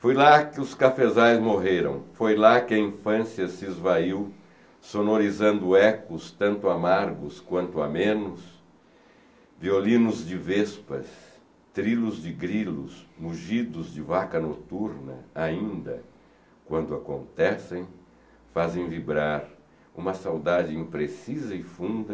Foi lá que os cafezais morreram, foi lá que a infância se esvaiu, sonorizando ecos tanto amargos quanto amenos, violinos de vespas, trilos de grilos, mugidos de vaca noturna, ainda, quando acontecem, fazem vibrar uma saudade imprecisa e funda